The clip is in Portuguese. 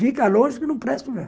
Fica longe que não presto mesmo.